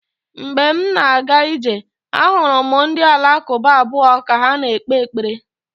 Mgbe m na-aga ije, ahụrụ m ndị Alakụba abụọ ka ha na-ekpe ekpere.